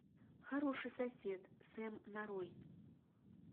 хороший сосед сэм нарой